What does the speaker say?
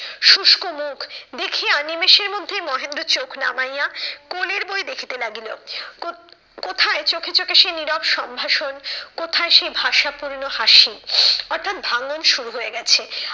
শুষ্ক মুখ দেখিয়া নিমেষের মধ্যে মহেন্দ্র চোখ নামাইয়া কোলের বই দেখিতে লাগিল। কো কোথায় চোখে চোখে সে নীরব সম্ভাষণ, কোথায় সে ভাষা পূর্ণ হাসি? অর্থাৎ ভাঙ্গন শুরু হয়ে গেছে।